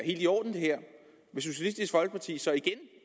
i orden vil socialistisk folkeparti så igen